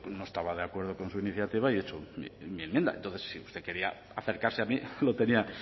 no estaba de acuerdo con su iniciativa y he hecho mi enmienda entonces usted quería acercarse a mí lo tenía